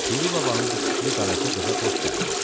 Piri babanın bu fikri qaraca qıza xoş gəldi.